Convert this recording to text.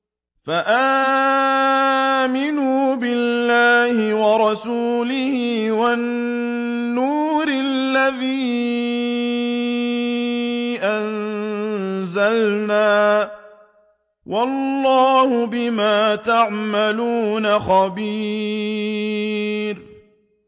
فَآمِنُوا بِاللَّهِ وَرَسُولِهِ وَالنُّورِ الَّذِي أَنزَلْنَا ۚ وَاللَّهُ بِمَا تَعْمَلُونَ خَبِيرٌ